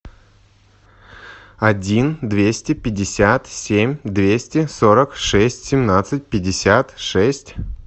один двести пятьдесят семь двести сорок шесть семнадцать пятьдесят шесть